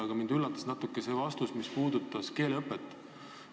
Aga mind üllatas natuke see vastus, mis puudutas keeleõpet.